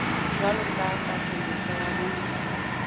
jwalo ka katoloso ya bongata